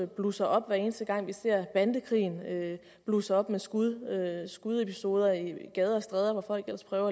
blusser op hver eneste gang vi ser bandekrigen blusse op med skudepisoder i skudepisoder i gader og stræder hvor folk ellers prøver